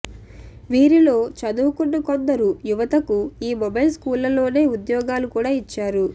వీరిలో చదువుకున్న కొందరు యువతకు ఈ మొబైల్ స్కూళ్లలోనే ఉద్యోగాలు కూడా ఇచ్చారు